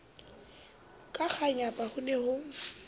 ka kganyapa ho ne ho